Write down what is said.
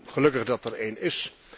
Gelukkig dat er een is.